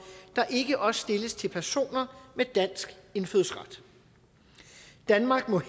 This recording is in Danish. der ikke også stilles til personer med dansk indfødsret danmark må